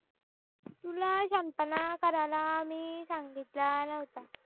तुला शहाणपणा कराला मी सांगितला नव्हता